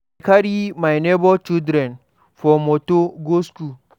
I dey carry my nebor children for motor go skool.